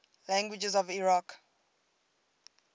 languages of iraq